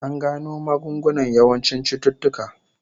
An gano magungunan yawancin cututtuka